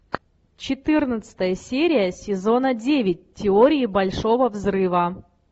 четырнадцатая серия сезона девять теории большого взрыва